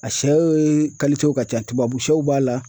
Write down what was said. A sɛw ye ka ca tubabusɛw b'a la.